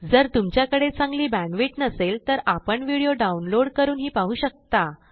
जर तुमच्याकडे चांगली बॅण्डविड्थ नसेल तर आपण व्हिडिओ डाउनलोड करूनही पाहू शकता